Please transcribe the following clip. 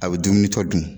A bɛ dumuni tɔ dun